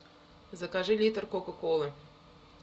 закажи литр кока колы